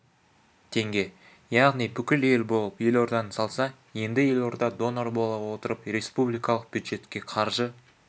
теңге яғни бүкіл ел болып елорданы салса енді елорда донор бола отырып республикалық бюджетке қаржы